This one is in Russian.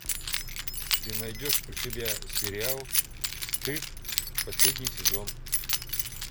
ты найдешь у себя сериал стыд последний сезон